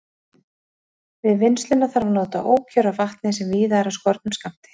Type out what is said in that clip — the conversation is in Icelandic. Við vinnsluna þarf að nota ókjör af vatni, sem víða er af skornum skammti.